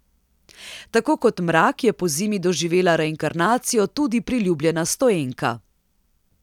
Tako kot Mrak je pozimi doživela reinkarnacijo tudi priljubljena stoenka.